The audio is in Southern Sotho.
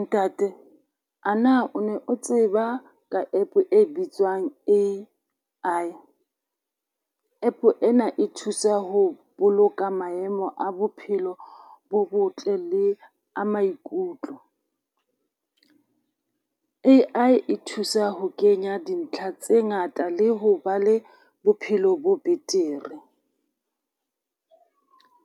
Ntate a na o ne o tseba ka app e bitswang A_I App ena e thusa ho boloka maemo a bophelo bo botle le a maikutlo. A_I e thusa ho kenya dintlha tse ngata le ho ba le bophelo bo betere.